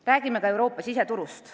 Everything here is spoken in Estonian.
Räägime ka Euroopa siseturust.